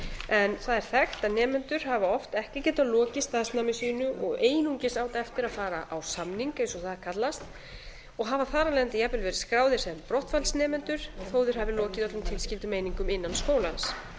en það er þekkt að nemendur hafa oft ekki getað lokið starfsnámi sínu og einungis átt eftir að fara á samning eins og það er kallað og hafa þar af leiðandi jafnvel verið skráðir sem brottfallsnemendur þó að þeir hafi lokið öllum tilskildum einingum innan skólans